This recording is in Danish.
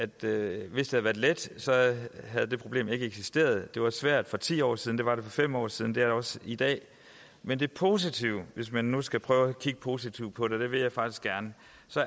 det havde været let havde det problem ikke eksisteret det var svært for ti år siden det var det for fem år siden det også i dag men det positive hvis man nu skal prøve at kigge positivt på det og det vil jeg faktisk gerne